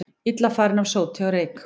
Illa farin af sóti og reyk